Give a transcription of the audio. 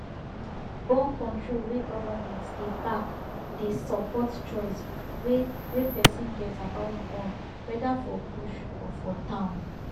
borncontrol wey government dey back dey support choice wey wey person get about born whether for bush or for town